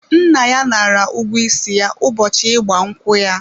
Nna ya nara ụgwọ isi ya ụbọchị ịgba nkwụ ya.